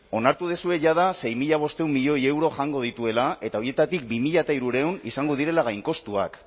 onartu duzue jada sei mila bostehun milioi euro jango dituela eta horietatik bi mila hirurehun izango direla gainkostuak